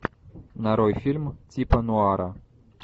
нарой фильм типа нуара